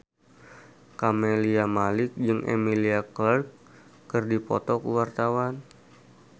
Camelia Malik jeung Emilia Clarke keur dipoto ku wartawan